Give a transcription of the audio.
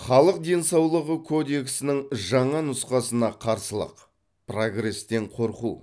халық денсаулығы кодексінің жаңа нұсқасына қарсылық прогрестен қорқу